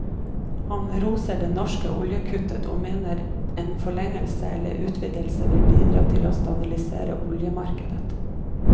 Han roser det norske oljekuttet og mener en forlengelse eller utvidelse vil bidra til å stabilisere oljemarkedet.